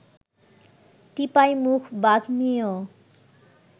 টিপাইমুখ বাঁধ নিয়েও